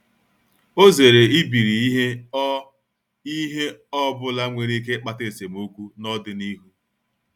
Ọ zere ibiri ihe ọ ihe ọ bụla nwere ike ịkpata esemokwu n’ọdịnihu.